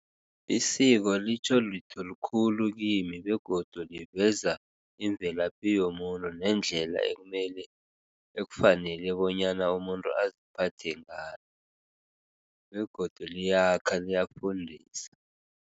Isiko litjho litho likhulu kimi begodu liveza imvelaphi yomuntu nendlela ekumele ekufanele bonyana umuntu aziphathe ngayo begodu liyakha, liyafundisa.